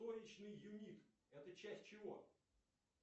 юник это часть чего